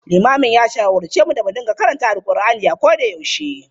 Limamin ya shawarce mu da mu riƙa karanta Alqur'ani a koda yaushe.